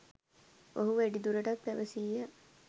ඔහු වැඩිදුරටත් පැවැසීය